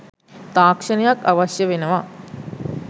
තාක්ෂණයක් අවශ්‍ය වෙනවා.